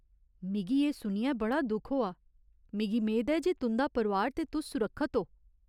मिगी एह् सुनियै बड़ा दुख होआ, मिगी मेद ऐ जे तुं'दा परोआर ते तुस सुरक्खत ओ।